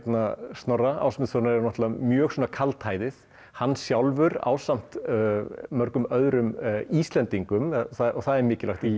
Snorra Ásmundssonar er mjög kaldhæðið hann sjálfur ásamt mörgum Íslendingum það er mikilvægt í